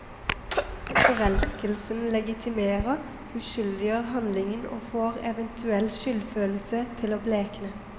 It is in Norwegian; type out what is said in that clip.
Forelskelsen legitimerer, uskyldiggjør handlingen og får eventuell skyldfølelse til å blekne.